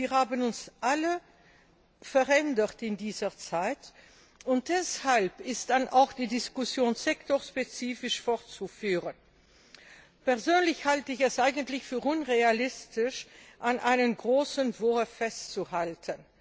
Wir haben uns alle verändert in dieser Zeit, und deshalb ist auch die Diskussion sektorspezifisch fortzuführen. Persönlich halte ich es eigentlich für unrealistisch, an einem großen Entwurf festzuhalten.